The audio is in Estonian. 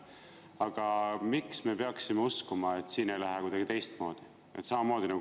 Aga miks me peaksime uskuma, et siin ei lähe kuidagi teistmoodi?